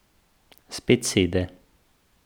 Spet sede.